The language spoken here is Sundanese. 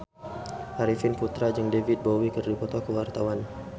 Arifin Putra jeung David Bowie keur dipoto ku wartawan